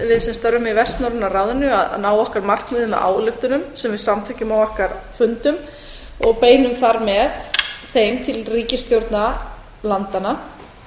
við sem störfum í vestnorræna ráðinu reynum ná okkar markmiðum með ályktunum sem við samþykkjum á okkar fundum og beinum þar með þeim til ríkisstjórna landanna